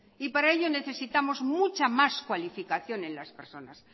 y para ello necesitamos mucha más cualificación en las personas